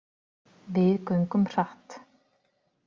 Við göngum hratt.